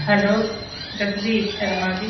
Hello Raghubir Sharma